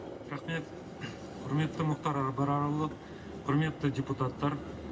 рахмет құрметті мұхтар абрарұлы құрметті депутаттар